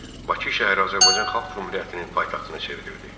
Bakı şəhəri Azərbaycan Xalq Cümhuriyyətinin paytaxtına çevrildi.